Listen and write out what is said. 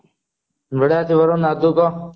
ବଢିୟା ଅଛି ବରୁଣ ଆଉ ତୁ କହ